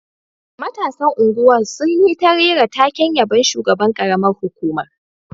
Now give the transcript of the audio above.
Matasan unguwar sun yi ta rera taken yabon shugaban karamar hukumar